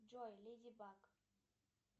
джой леди баг